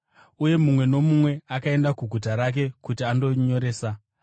Uye mumwe nomumwe akaenda kuguta rake kuti andonyoresa.